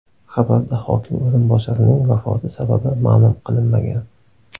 Xabarda hokim o‘rinbosarining vafoti sababi ma’lum qilinmagan.